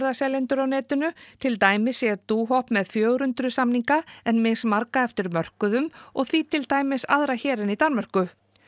ferðaseljendur á netinu til dæmis sé með fjögur hundruð samninga en mismarga eftir mörkuðum og því til dæmis aðra hér en í Danmörku